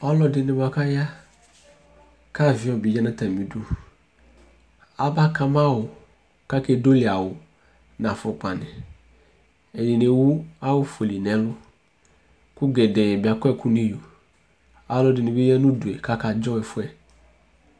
Ɔlɔdɩnɩ bʋa kʋ aya kʋ avɩyɔ bɩ ya nʋ atamɩdu Abaka ma awʋ kʋ akedoli awʋ nʋ afʋkpanɩ Ɛdɩnɩ ewu awʋfuele nʋ ɛlʋ kʋ gɛdɛɛ bɩ akɔ ɛkʋ nʋ iyo Alʋɛdɩnɩ bɩ ya nʋ udu yɛ kʋ akadzɔ ɛfʋ yɛ